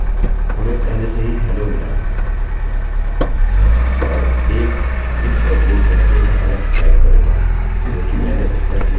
और एक if का उपयोग करके मैं ऐलेक्स टाइप करुँगा क्योंकि मैंने उसपर क्लिक किया है